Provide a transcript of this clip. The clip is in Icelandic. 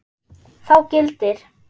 Þá gildir